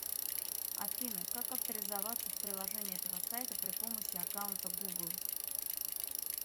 афина как авторизоваться в приложении этого сайта при помощи аккаунта гугл